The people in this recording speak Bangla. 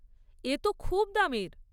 এ তো খুব দামের।